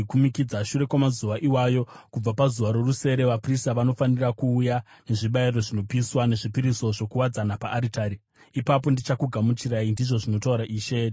Shure kwamazuva iwayo, kubva pazuva rorusere, vaprista vanofanira kuuya nezvibayiro zvinopiswa nezvipiriso zvokuwadzana paaritari. Ipapo ndichakugamuchirai, ndizvo zvinotaura Ishe Jehovha.”